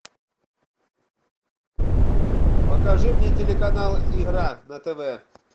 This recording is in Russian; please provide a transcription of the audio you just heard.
покажи мне телеканал игра на тв